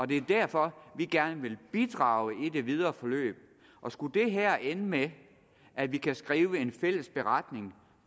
det er derfor vi gerne vil bidrage i det videre forløb og skulle det her ende med at vi kan skrive en fælles beretning